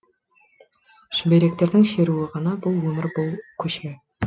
шүберектердің шеруі ғана бұл өмір бұл көше